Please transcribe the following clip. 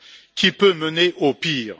qui peut mener au pire.